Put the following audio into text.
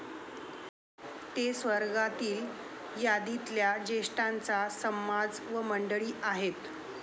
ते स्वर्गातील यादीतल्या ज्येष्ठांचा समाज व मंडळी आहेत.